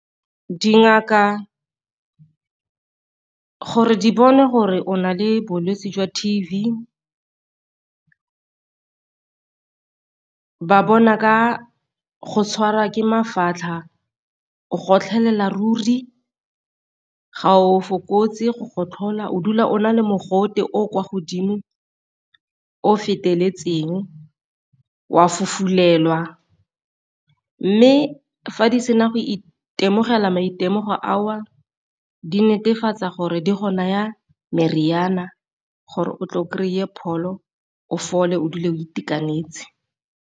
Dingaka gore di bone gore o na le bolwetse jwa ba bona ka go tshwara ke mafatlha, go gotlholele ruri, ga o fokotse go gotlhola o dula o na le mogote o o kwa godimo o feteletseng, o a fofulelwa. Mme fa di sena go itemogela maitemogelo ao di netefatsa gore di go naya meriana gore o tlo kry-e pholo o o fole o dule o itekanetse.